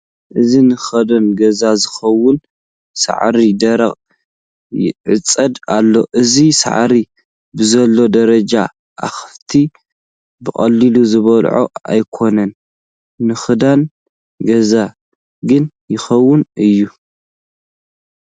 እዚ ንክዳን ገዛ ዝኸውን ሳዕሪ ደሪቑ ይዕፀድ ኣሎ፡፡ እዚ ሳዕሪ ብዘለዎ ደረጃ ኣኻፍት ብቐሊሉ ዝበልዕኦ ኣይኮን፡፡ ንኽዳን ገዛ ግን ይኸውን እዩ፡፡